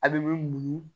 A bɛ muɲu